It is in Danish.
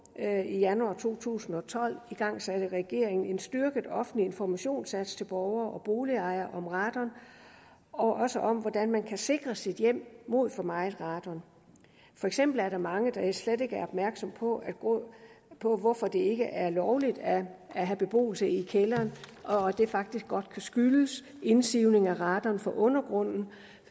i januar to tusind og tolv igangsatte regeringen en styrket offentlig informationsindsats til borgere og boligejere om radon og også om hvordan man kan sikre sit hjem mod for meget radon for eksempel er der mange der slet ikke er opmærksom på på hvorfor det ikke er lovligt at have beboelse i kælderen og at det faktisk godt kan skyldes indsivning af radon fra undergrunden